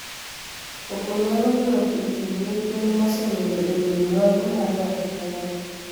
Koko nyalo much e kind nyithind mosenindo e wiii mwandu mar ng'ato ka ng'ato.